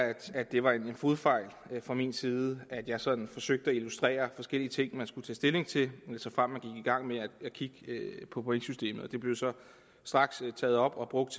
at det var en fodfejl fra min side at jeg sådan forsøgte at illustrere forskellige ting som man skulle tage stilling til såfremt i gang med at kigge på pointsystemet det blev så straks taget op og brugt